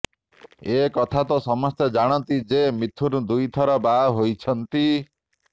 ଏ କଥା ତ ସମସ୍ତେ ଜାଣନ୍ତି ଯେ ମିଥୁନ୍ ଦୁଇ ଥର ବାହା ହୋଇଛନ୍ତି